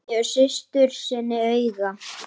Hann gefur systur sinni auga.